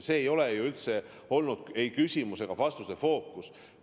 See ei olegi ju olnud ei küsimuse ega vastuse eeldus.